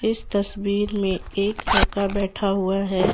इस तस्वीर में एक लड़का बैठा हुआ है।